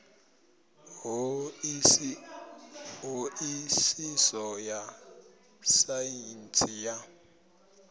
ṱho ḓisiso ya saintsi ya